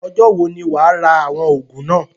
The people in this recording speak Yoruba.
Ọjọ́ wo ni wàá rà àwọn òògùn náà?